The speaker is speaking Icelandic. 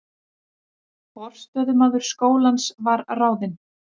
Forstöðumaður skólans var ráðinn